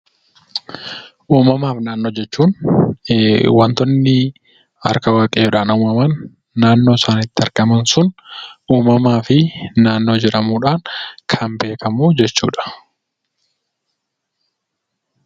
Uumamaa fi naannoo jechuun wantoonni harka Waaqayyoodhaan uumaman, naannoo isaan itti argaman sun uumamaa fi naannoo jedhamuudhaan kan beekamu jechuudha.